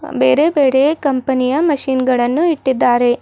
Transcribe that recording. ಬೇರೆ ಬೇರೆಯ ಕಂಪನಿಯ ಮಷೀನ್ ಗಳನ್ನು ಇಟ್ಟಿದಾರೆ.